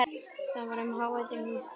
Það var um hávetur og snjór yfir öllu.